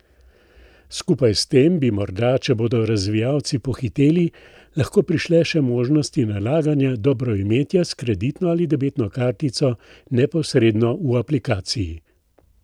Skupaj s tem bi morda, če bodo razvijalci pohiteli, lahko prišle še možnosti nalaganja dobroimetja s kreditno ali debetno kartico neposredno v aplikaciji.